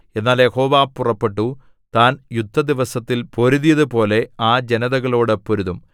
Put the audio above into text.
എന്നാൽ യഹോവ പുറപ്പെട്ടു താൻ യുദ്ധദിവസത്തിൽ പൊരുതിയതുപോലെ ആ ജനതകളോടു പൊരുതും